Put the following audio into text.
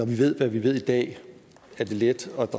vi ved hvad vi ved i dag er det let at